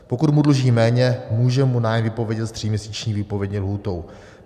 Pokud mu dluží méně, může mu nájem vypovědět s tříměsíční výpovědní lhůtou.